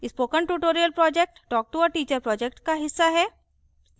spoken tutorial project talktoateacher project का हिस्सा है